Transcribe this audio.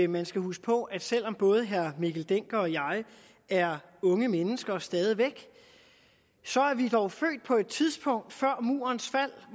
man skal huske på at selv om både herre mikkel dencker og jeg er unge mennesker stadig væk så er vi dog født på et tidspunkt før murens fald